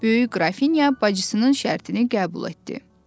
Böyük qrafinya bacısının şərtini qəbul etdi.